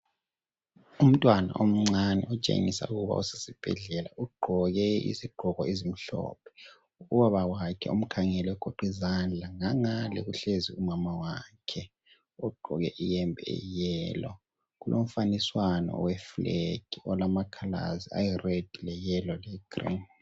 Umntwana omncane otshengisa ukuba usesibhedlela ugqoke izigqoko ezimhlophe. Ubaba wakhe umkhangele ugoqizandla ngangangale kuhlezi umama wakhe ugqoke iyembe eyiyellow. Kulomfaniswano oweflag olamacolours ayired leyellow legreen.